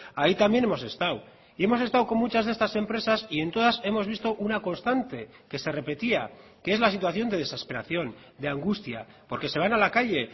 ahí también hemos estado y hemos estado con muchas de estas empresas y en todas hemos visto una constante que se repetía que es la situación de desesperación de angustia porque se van a la calle